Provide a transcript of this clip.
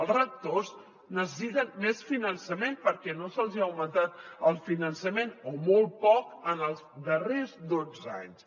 els rectors necessiten més finançament perquè no se’ls hi ha augmentat el finançament o molt poc en els darrers dotze anys